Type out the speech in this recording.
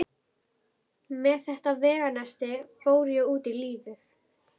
Hún var komin í bolinn aftur.